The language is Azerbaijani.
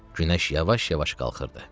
Günəş yavaş-yavaş qalxırdı.